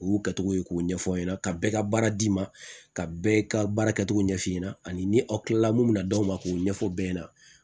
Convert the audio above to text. U y'u kɛcogo ye k'o ɲɛfɔ aw ɲɛna ka bɛɛ ka baara d'i ma ka bɛɛ ka baara kɛcogo ɲɛf'i ɲɛna ani aw kilala mun bɛna d'aw ma k'o ɲɛfɔ bɛɛ ɲɛna